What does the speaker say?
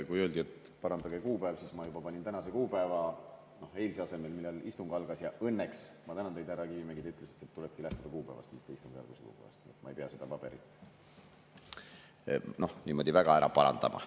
Kui öeldi, et parandage kuupäev ära, siis ma juba panin tänase kuupäeva eilse asemele, kui istung algas, ja õnneks – ma tänan teid, härra Kivimägi – te ütlesite, et tulebki lähtuda kuupäevast, mitte istungi algusest, nii et ma ei pea seda paberit niimoodi väga parandama.